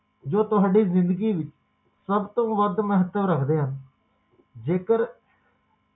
ਜੋ ਤੁਹਾਡੀ ਜ਼ਿੰਦਗੀ ਵਿੱਚ ਸਭ ਤੋਂ ਵੱਧ ਮਹੱਤਵ ਰੱਖਦੇ ਹਨ ਜੇਕਰ ਜੇਕਰ ਅਚਾਨਕ ਵਾਪਰਦਾ ਹੈ